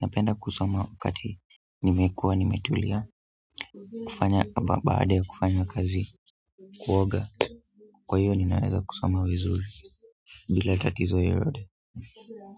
napenda kusoma wakati nimekuwa, nimetulia kufanya, baada ya kufanya kazi, kuoga, kwa hiyo ninaweza kusoma vizuri bila tatizo yoyote.